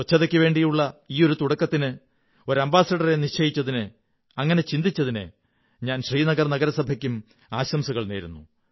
ശുചിത്വത്തിനുവേണ്ടിയുള്ള ഈയൊരു തുടക്കത്തിന് ഒരു അംബാസഡറെ നിശ്ചയിച്ചതിന് അങ്ങനെ ചിന്തിച്ചതിന് ഞാൻ ശ്രീനഗർ നഗരസഭയ്ക്കും ആശംസകൾ നേരുന്നു